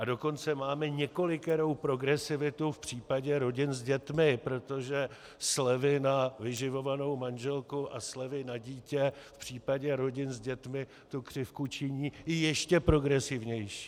A dokonce máme několikerou progresivitu v případě rodin s dětmi, protože slevy na vyživovanou manželku a slevy na dítě v případě rodin s dětmi tu křivku činí i ještě progresivnější.